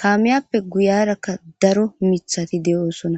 kaameyappe guyarakka daro mithati de7oosona